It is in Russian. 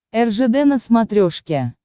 ржд на смотрешке